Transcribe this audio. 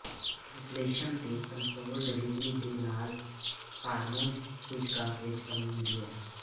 ਵਿਸ਼ਲੇਸ਼ਣ ਦੇ control delivery ਦੇ ਨਾਲ ਹਾਰਮੋਨ ਸੂਚਕਾਂਕ ਵਿੱਚ ਕਮੀ ਹੁੰਦੀ ਹੈ